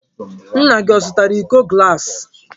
Nna gị ọ zụtara iko gaasi?